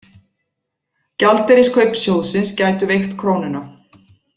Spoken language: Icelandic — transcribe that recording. Gjaldeyriskaup sjóðsins gætu veikt krónuna